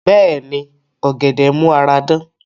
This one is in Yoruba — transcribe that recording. Bẹ́ẹ̀ni, ọ̀gẹ̀dẹ̀ n mú ara dán